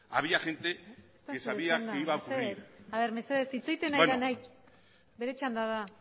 había gente que sabía mesedez hitz egiten ari denari bere txanda da